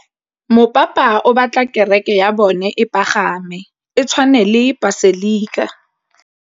Mopapa o batla kereke ya bone e pagame, e tshwane le paselika.